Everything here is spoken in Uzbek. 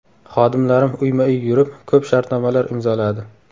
Xodimlarim uyma-uy yurib, ko‘p shartnomalar imzoladi.